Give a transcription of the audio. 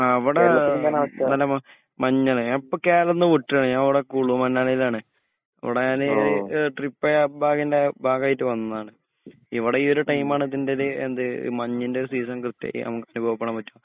അ വ്ടെ മഞ്ഞാണ് ഞാ പ്പോ കേരളത്തിന്ന് വുട്ടാണ് ഞ വ്ടെ കുളുമണലിലാണ് ഇവടെ ഞാനീ ട്രിപ്പയ ബാഗിന്റെ ബാഗായിട്ട് വന്നേണ് ഇവ്ടെ ഈ ഒരു ടൈം ആണ് മഞ്ഞിന്റെ ഒരു സീസൺ കൃത്യായിട്ട് നമുക് അനുഭവപ്പെടാൻപറ്റ